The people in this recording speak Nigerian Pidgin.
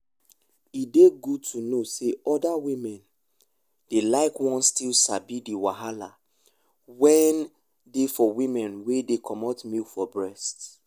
e dey good to know say other women dey like won still sabi the wahala wen dey for women wen dey comot milk from breast.